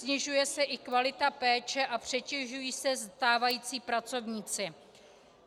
Snižuje se i kvalita péče a přetěžují se stávající pracovníci.